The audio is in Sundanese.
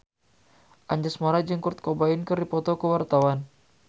Anjasmara jeung Kurt Cobain keur dipoto ku wartawan